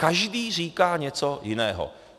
Každý říká něco jiného.